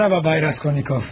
Mərhaba, Bay Raskolnikov.